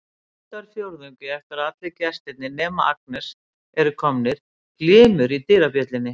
Stundarfjórðungi eftir að allir gestirnir nema Agnes eru komnir glymur í dyrabjöllunni.